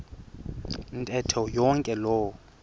ntetho yonke loo